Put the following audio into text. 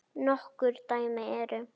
Nokkur dæmi eru